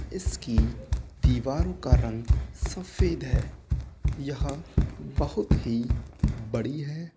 इसकी दीवारों का रंग सफेद है। यह बोहोत ही बड़ी है।